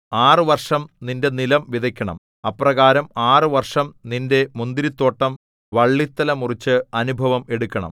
ആറ് വർഷം നിന്റെ നിലം വിതയ്ക്കണം അപ്രകാരം ആറ് വർഷം നിന്റെ മുന്തിരിത്തോട്ടം വള്ളിത്തല മുറിച്ച് അനുഭവം എടുക്കണം